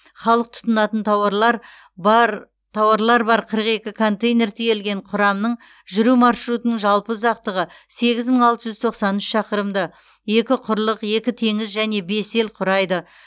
халық тұтынатын тауарлар бар тауарлар бар қырық екі контейнер тиелген құрамның жүру маршрутының жалпы ұзақтығы сегіз мың алты жүз тоқсан үш шақырымды екі құрлық екі теңіз және бес ел құрайды